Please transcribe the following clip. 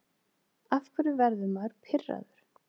Af hverju verður maður pirraður?